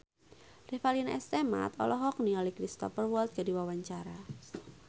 Revalina S. Temat olohok ningali Cristhoper Waltz keur diwawancara